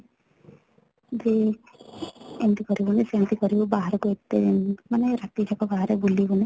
ଯେ ଏମିତି କରି ବୁନି ସେମିତି କରିବୁ ବାହାର କୁ ଏତେ ମାନେ ରାତି ଯାକ ବାହାରେ ବୁଲିବୁନି